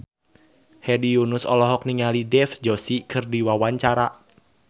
Hedi Yunus olohok ningali Dev Joshi keur diwawancara